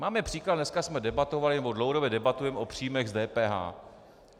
Máme příklad, dneska jsme debatovali, nebo dlouhodobě debatujeme o příjmech z DPH.